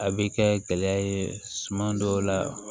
A bɛ kɛ gɛlɛya ye suman dɔw la